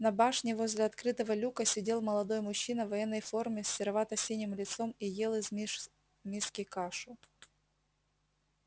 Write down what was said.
на башне возле открытого люка сидел молодой мужчина в военной форме с серовато-синим лицом и ел из миски кашу